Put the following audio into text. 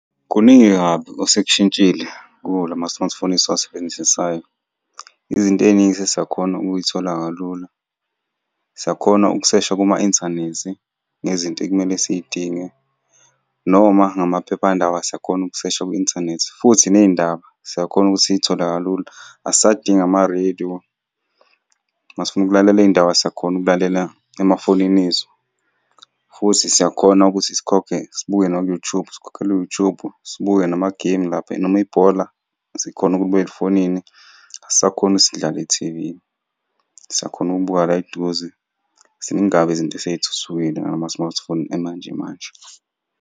Kuningi kabi osekushintshile kuwo la ma-smartphone esiwasebenzisayo. Izinto ey'ningi sesiyakhona ukuy'thola kalula. Siyakhona ukusesha kuma-inthanethi ngezinto ekumele siy'dinge noma ngamaphephandaba siyakhona ukusesha kwi-inthanethi, futhi ney'ndaba siyakhona ukuthi siy'thole kalula. Asisadingi ama-radio, uma sifuna ukulalela iy'ndaba siyakhona ukulalela emafonini ethu, futhi siyakhona ukuthi sikhokhe, sibuke naku-YouTube, sikhokhele u-YouTube. Sibuke namagemu lapha noma ibhola, sikhona ukulibuka efonini. Asisakhoni ukuthi sidlale ku-T_V, siyakhona ukubuka la eduze. Ziningi kabi izinto esey'thuthukile ngala ma-smartphone emanjemanje.